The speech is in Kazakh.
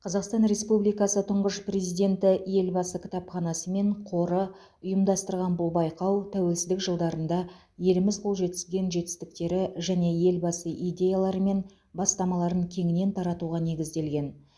қазақстан республикасы тұңғыш президенті елбасы кітапханасы мен қоры ұйымдастырған бұл байқау тәуелсіздік жылдарында еліміз қол жеткізген жетістіктері және елбасы идеялары мен бастамаларын кеңінен таратуға негізделген